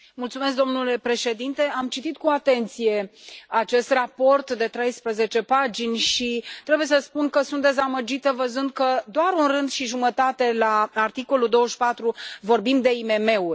Domnule președinte, am citit cu atenție acest raport de 13 pagini și trebuie să spun că sunt dezamăgită văzând că doar un rând și jumătate, la articolul 24, vorbim de IMM uri.